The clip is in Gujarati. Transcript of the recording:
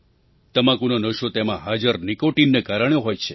તમાકુનો નશો તેમાં હાજર નિકૉટિનના કારણે હોય છે